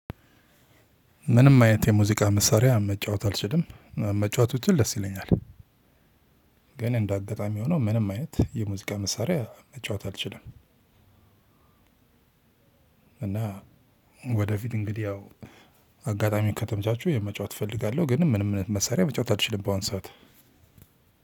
ምንም አይነት የሙዚቃ መሳሪያ መጫወት አልችልም መጫወት ብችል ደስ ይለኛል። ግን እንደ አጋጣሚ ሆኖ ምንም አይነት የሙዚቃ መሳሪያ መጫወት አልችልም። እና ወደፊት እንግዲህ ያው አጋጣሚ ከተምቻቹ የመጫወት እፈልጋለሁ። ግን ምንም መሳሪያ መጫወት አልችልም ባሁን ሰዓት።